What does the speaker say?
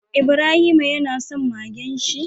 Ibrahima yana son Magen shi